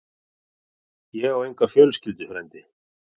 Ég á enga fjölskyldu, frændi.